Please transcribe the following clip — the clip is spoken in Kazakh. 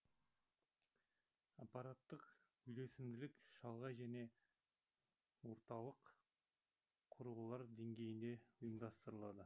аппараттық үйлесімділік шалғай және орталық құрылғылар деңгейінде ұйымдастырылады